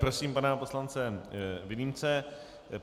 Prosím pana poslance Vilímce.